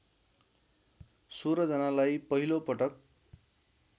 १६ जनालाई पहिलोपटक